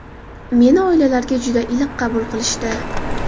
Meni oilalariga juda iliq qabul qilishdi.